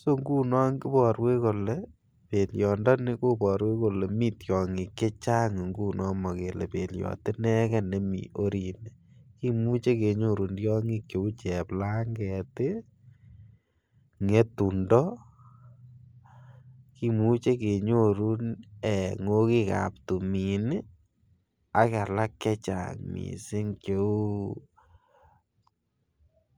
so ngunon iborwech kolee belyondoni koboru kole mii tyogik chechang ngunii ngunon, mokele belyot inegen nemii orini, kimuche kenyorun tyogik che uu cheplanget ii, ngetundo, kimuche kenyorun ngokikab timin ii ak alak chechang missing che uu